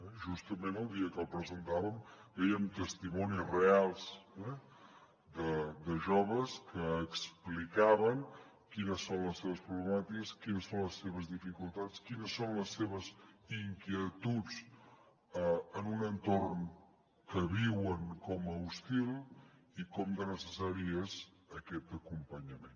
justament el dia que el presentàvem veiem testimonis reals de joves que explicaven quines són les seves problemàtiques quines són les seves dificultats quines són les seves inquietuds en un entorn que viuen com a hostil i com de necessari és aquest acompanyament